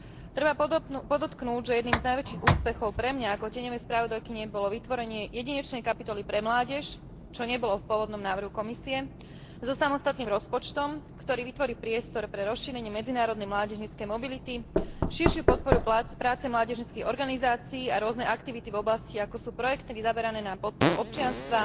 Treba podotknúť, že jedným z najväčších úspechov pre mňa ako tieňovú spravodajkyňu bolo vytvorenie jedinečnej kapitoly pre mládež, čo nebolo v pôvodnom návrhu Komisie, so samostatným rozpočtom, ktorý vytvorí priestor pre rozšírenie medzinárodnej mládežníckej mobility, širšiu podporu práce mládežníckych organizácií a rôzne aktivity v oblastiach, ako sú projekty zamerané na podporu občianstva,